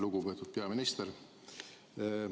Lugupeetud peaminister!